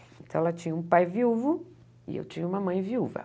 Então, ela tinha um pai viúvo e eu tinha uma mãe viúva.